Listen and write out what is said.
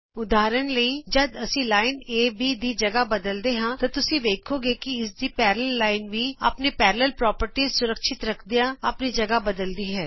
ਉਦਾਹਰਣ ਲਇ ਜਦ ਅਸੀਂ ਲਾਈਨ ਏ ਬੀ ਦੀ ਥਾ ਬਦਲਦੇ ਹਾਂ ਤੁਸੀਂ ਵੇਖੋਗੇ ਕਿ ਇਸਦੀ ਸਮਾਂਤਰ ਲਾਈਨ ਵੀ ਆਪਣੀ ਸਮਾਂਤਰ ਪ੍ਰੋਪਰਟੀਜ਼ ਸੁਰੱਖਿਅਤ ਰਖਦਿਆਂ ਆਪਣੀ ਥਾਂ ਬਦਲਦੀ ਹੈ